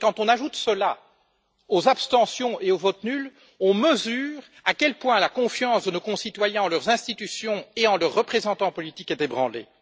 Quand on ajoute cela aux abstentions et aux votes nuls, on mesure à quel point la confiance de nos concitoyens en leurs institutions et en leurs représentants politiques est ébranlée.